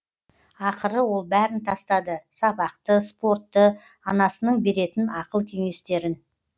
ақыры ол бәрін тастады сабақты спортты анасының беретін ақыл кенестерін